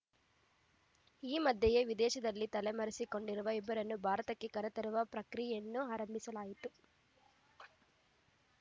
ಈ ಮಧ್ಯೆಯೇ ವಿದೇಶದಲ್ಲಿ ತಲೆಮರೆಸಿಕೊಂಡಿರುವ ಇಬ್ಬರನ್ನು ಭಾರತಕ್ಕೆ ಕರೆತರುವ ಪ್ರಕ್ರಿಯೆಯನ್ನು ಆರಂಭಿಸಲಾಗಿತ್ತು